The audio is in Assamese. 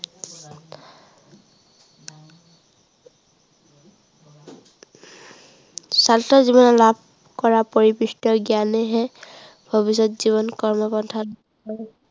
ছাত্ৰ জীৱনত লাভ কৰা পৰিপিষ্ট জ্ঞানেহে, ভৱিষ্য়ত জীৱন কৰ্মপন্থাত